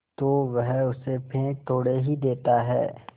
तो वह उसे फेंक थोड़े ही देता है